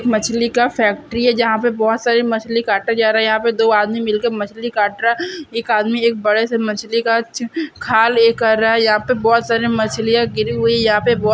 मछली का फैक्ट्री है जहाँ पे बहुत सारी मछली काटा जा रहा यहाँ पे दो आदमी मिलकर मछली काट रहा एक आदमी एक बड़े से मछली का खाल ये कर रहे है यहाँ पे बहुत सारी मछली गिरि हुई है यहाँ पे बहोत --